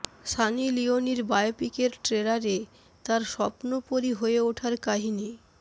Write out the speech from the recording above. সানি লিওনির বায়োপিকের ট্রেলারে তাঁর স্বপ্নপরী হয়ে ওঠার কাহিনি